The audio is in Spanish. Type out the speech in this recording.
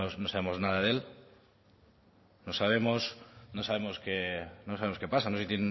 no sabemos nada de él no sabemos qué pasa no sabemos si tienen